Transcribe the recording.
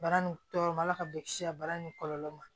Bara nin tɔɔrɔ ma ala ka bɔ kisi a baara ni kɔlɔlɔ ma